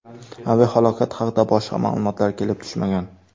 Aviahalokat haqida boshqa ma’lumotlar kelib tushmagan.